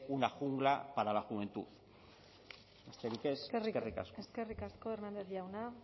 una jungla para la juventud besterik ez eskerrik asko eskerrik asko hernández jauna